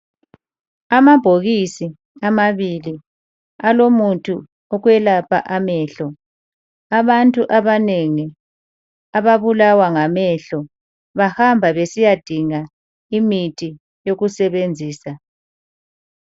Amabhokisi amabili alomuthi wokwelapha amehlo. Abantu abanengi ababulawa ngamehlo bahamba besiyadinga imithi yokusebenzisa.